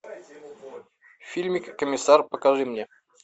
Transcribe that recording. фильмик комиссар покажи мне